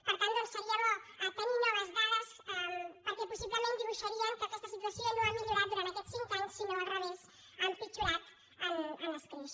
per tant doncs seria bo tenir noves dades perquè possiblement dibuixarien que aquesta situació no ha millorat durant aquests cinc anys sinó al revés ha empitjorat en escreix